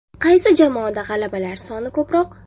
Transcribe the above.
Qaysi jamoada g‘alabalar soni ko‘proq?